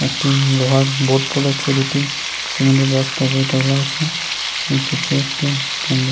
একটি লোহার বোর্ড পড়েছে দুটি । সিমেন্ট -এর বস্তা ওপরে তোলা আছে । উম পিছে একটু --